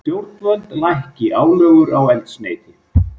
Stjórnvöld lækki álögur á eldsneyti